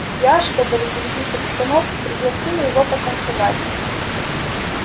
я чтобы разрядить обстановку пригласила его потанцевать